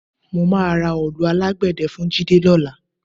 Mo máa ra òòlù alágbẹ̀dẹ́ fún Jídé lọ́la